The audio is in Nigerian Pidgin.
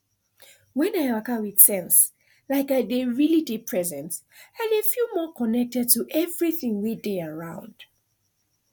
when i waka with sense like i dey really dey present i dey feel more connected to everything wey dey around